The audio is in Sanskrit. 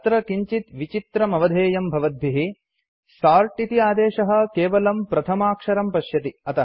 अत्र किञ्चित् विचित्रमवधेयं भवद्भिः सोर्ट् इति आदेशः केवलं प्रथमाक्षरं पश्यति